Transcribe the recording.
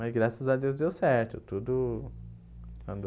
Mas graças a Deus deu certo, tudo... Quando...